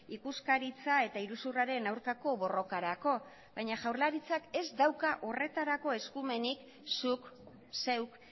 ikuskaritza eta iruzurraren aurkako borrokarako baina jaurlaritzak ez dauka horretarako eskumenik zuk zeuk